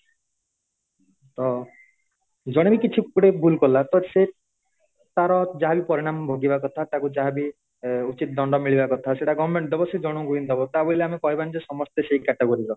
ଜଣେବି କିଛି ଭୁଲ କଲା ତ ସେ ତାର ଯାହାବି ପରିଣାମ ଭୋଗିବା କଥା ତାକୁ ଯାହାବି ଉଚିତ୍ ଦଣ୍ଡ ମିଳିବା କଥା ସେଟ government ଦବ ସେ ଜଣଙ୍କୁ ହିଁ ଦବ ତା ବୋଲି ଆମେ କହିବନି ଯେ ସମସ୍ତେ ସେଇ category ର